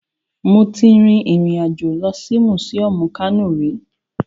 Mo ti rin ìrìn àjò lọ sí mùsíọmù Kano rí